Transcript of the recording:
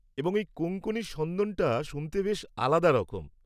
এবং এই কোঙ্কনি সন্দনটা শুনতে বেশ আলাদা রকম।